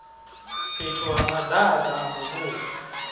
fhethu ha madaka a muvhuso